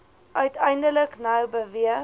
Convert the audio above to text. uiteindelik nou beweeg